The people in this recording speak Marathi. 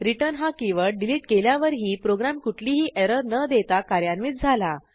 returnहा कीवर्ड डिलीट केल्यावरही प्रोग्रॅम कुठलीही एरर न देता कार्यान्वित झाला